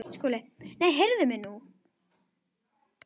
SKÚLI: Nei, heyrið mig nú!